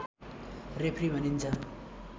referee भनिन्छ